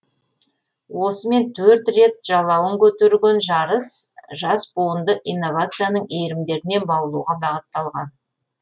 осымен төрт рет жалауын көтерген жарыс жас буынды инновацияның иірімдеріне баулуға бағытталған